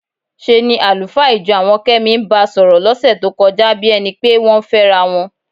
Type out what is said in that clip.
ṣe ni àlùfáà ìjọ àwọn Kẹ́mi ń ba sọ̀rọ̀ lọ́sẹ̀ tó kọjá bí ẹni pé wọ́n ń fẹ́ra wọn.